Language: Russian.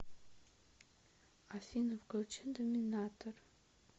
афина включи доминатор